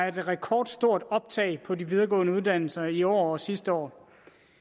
et rekordstort optag på de videregående uddannelser i år og sidste år